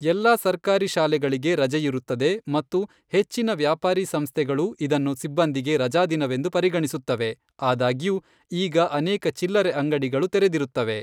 ಎಲ್ಲಾ ಸರ್ಕಾರಿ ಶಾಲೆಗಳಿಗೆ ರಜೆಯಿರುತ್ತದೆ ಮತ್ತು ಹೆಚ್ಚಿನ ವ್ಯಾಪಾರೀ ಸಂಸ್ಥೆಗಳು ಇದನ್ನು ಸಿಬ್ಬಂದಿಗೆ ರಜಾದಿನವೆಂದು ಪರಿಗಣಿಸುತ್ತವೆ, ಆದಾಗ್ಯೂ, ಈಗ ಅನೇಕ ಚಿಲ್ಲರೆ ಅಂಗಡಿಗಳು ತೆರೆದಿರುತ್ತವೆ.